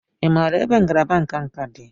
Ị maara ebe ngalaba nka nka dị?